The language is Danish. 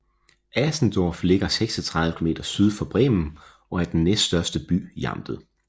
Asendorf ligger 36 km syd for Bremen og er den næststørste by i amtet